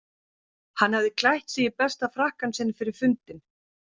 Hann hafði klætt sig í besta frakkann sinn fyrir fundinn.